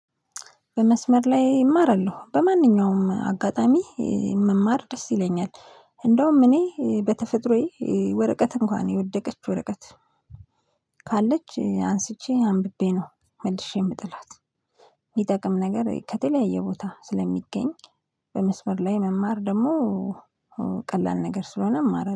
በመስመር ላይ እማራለሁ በማንኛውም አጋጣሚ መማር ደስ ይለኛል። እንደውም እኔ በተፈጥሮዬ ወረቀት እንኳን የወደቀችው ወረቀት ካለች አንስቼ አንብቤ ነው መልሼ የምጥላት። የሚጠቅም ነገር ከተለያየ ቦታ ስለሚገኝ በመስበር ላይ መማር ደግሞ ቀላል ነገር ስለሆነ እማራለሁ